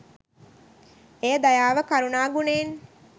එය දයාව කරුණා ගුණයෙන්